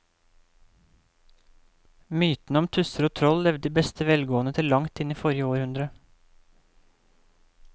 Mytene om tusser og troll levde i beste velgående til langt inn i forrige århundre.